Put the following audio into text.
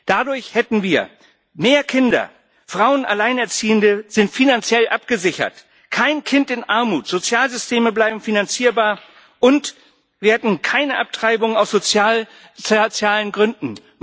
Dadurch hätten wir mehr Kinder, Frauen und Alleinerziehende sind finanziell abgesichert, kein Kind in Armut, Sozialsysteme bleiben finanzierbar, und wir hätten keine Abtreibung aus sozialen Gründen.